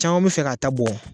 Caman mi fɛ ka ta bɔ